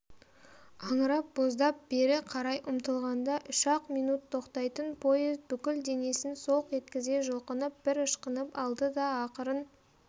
аңырап-боздап бері қарай ұмтылғанда үш-ақ минут тоқтайтын поезд бүкіл денесін солқ еткізе жұлқынып бір ышқынып алды да ақырын